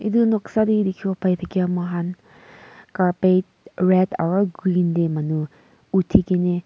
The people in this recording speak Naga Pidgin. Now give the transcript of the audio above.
itu noksa tey dikhiwo pai thakia muihan carpet red aro green tey manu uthikene.